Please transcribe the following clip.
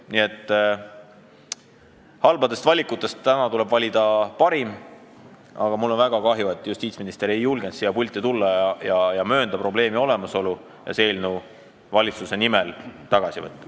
Nii et halbadest valikutest tuleb täna valida parim, kuid mul on väga kahju, et justiitsminister ei julgenud siia pulti tulla, möönda probleemi olemasolu ja see eelnõu valitsuse nimel tagasi võtta.